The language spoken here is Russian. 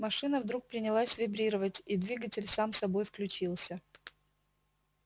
машина вдруг принялась вибрировать и двигатель сам собой включился